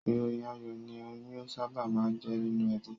Ìròyìn ayọ̀ ni oyún sábà máa ń jẹ́ nínú ẹbí